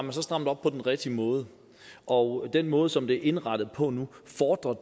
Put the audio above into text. har strammet op på den rigtige måde og den måde som det er indrettet på nu fordrer